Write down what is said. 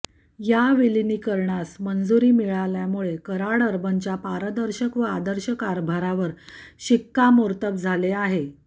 या विलीनीकरणास मंजुरी मिळाल्यामुळे कराड अर्बनच्या पारदर्शक व आदर्श कारभारावर शिक्कामोर्तब झाले आहे